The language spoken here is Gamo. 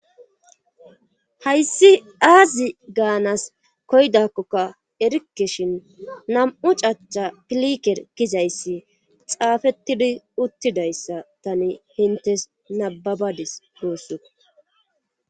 hayssi aazi gaanas koydakkoka erikeshin nam7u cacha piliker gizayssi xaafettidi uttidayssa tani hintes nababadis guussu